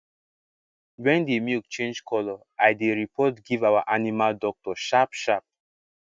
wen d milk change color i dey report give our animal doctor sharp sharp